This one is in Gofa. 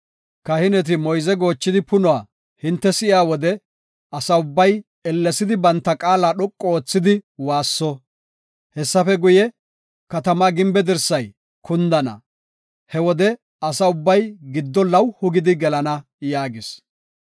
Kahineti moyze goochidi punuwa hinte si7iya wode, asa ubbay ellesidi banta qaala dhoqu oothidi waasso. Hessafe guye, katamaa gimbe dirsay kundana. He wode asa ubbay gido lawuhu gidi gelana” yaagis.